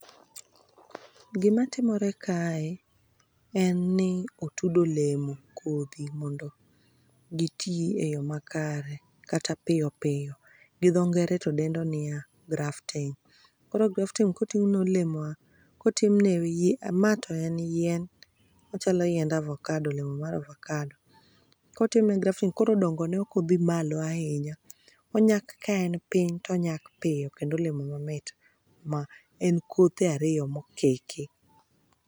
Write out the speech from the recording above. Gima timore kae en ni otud olemo kodhi mondo gi tii eyo makare kata piyo piyo. Gi dhoo ngere to dendo nia grafting. Koro grafting kotimne olemo kotimne yie ma to en yien ochalo yiend avocado olemo mar avocado. Kotimne grafting koro dongo ne ok odhi malo ahinya onyak ka en piny to onyak piyo kendo olemo mamit ma en kothe ariyo mokiki.